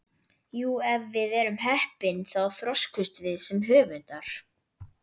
Jú, ef við erum heppin þá þroskumst við sem höfundar.